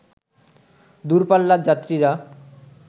দূর পাল্লার যাত্রীরা